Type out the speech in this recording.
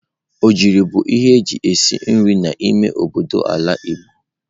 Ogiri bu ihe eji esi nri n'ime obodo n'ala Igbo.